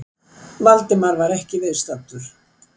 Valdimar var ekki viðstaddur